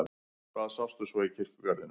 Hvað sástu svo í kirkjugarðinum?